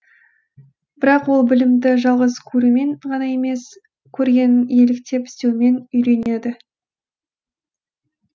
бірақ ол білімді жалғыз көрумен ғана емес көргенін еліктеп істеумен үйренеді